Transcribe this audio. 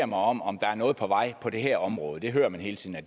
mig om om der er noget på vej på det her område det hører man hele tiden at